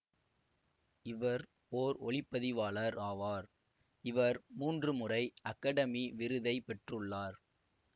இவர் ஓர் ஒளி பதிவாளர் ஆவார் இவர் மூன்று முறை அகடமி விருதை பெற்றுள்ளார்